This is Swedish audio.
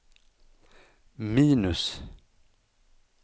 minus